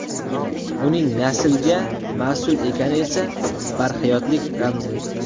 Uning naslga mas’ul ekani esa barhayotlik ramzi.